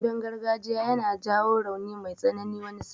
Damben gargajiya yana jawo rauni mai tsanani wani sa'in.